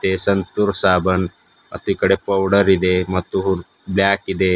ಇದೆ ಸಂತೂರ್ ಸಾಬನ್ ಮತ್ತೀಕಡೆ ಪೌಡರ್ ಇದೆ ಮತ್ತು ಬ್ಲಾಕ್ ಇದೆ.